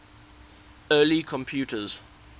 early computers